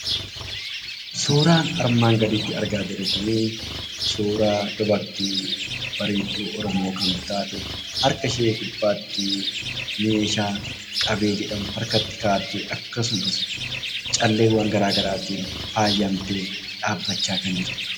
Suuraa armaan gadiitti argaa jirru kuni suuraa dubartii bareedduu Oromoo kan taate, harka ishee gubbaatti meeshaa qabee jedhamu harkatti kaa'attee akkasumas calleewwan garaagaraatiin faayyamtee dhaabbachaa kan jirtudha.